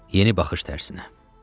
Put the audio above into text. Yeni baxış tərsinə.